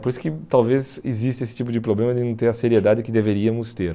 Por isso que talvez exista esse tipo de problema de não ter a seriedade que deveríamos ter.